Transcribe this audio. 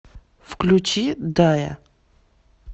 включи дайа